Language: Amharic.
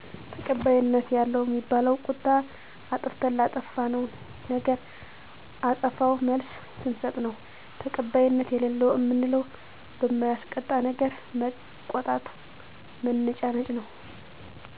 ተቀባይነት ያለው እሚባለው ቁጣ አጥፋተተን ላጠፋነው ነገር አጸፋዊ መልስ ስንስጥ ነው ተቀባይነት የለለው እምንለው በማያስቆጣነገር መቆጣት መነጫነጭ ነው